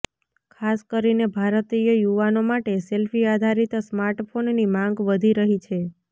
ખાસ કરીને ભારતીય યુવાનો માટે સેલ્ફી આધારીત સ્માર્ટફોનની માંગ વધી રહી છે